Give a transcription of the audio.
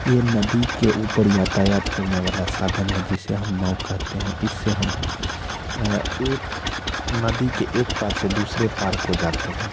ये नदी के ऊपर यातायात करने वाला साधन है जिसे हम नाव कहते हैं इससे हम अ एक नदी के एक पार से दूसरे पार को जाते हैं।